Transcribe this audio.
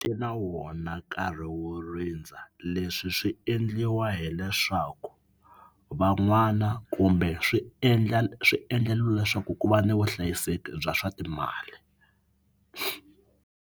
Ti na wona nkarhi wo rindza leswi swi endliwa hileswaku van'wana kumbe swi endla swi endleriwa leswaku ku va ni vuhlayiseki bya swa timali.